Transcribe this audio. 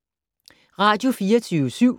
Radio24syv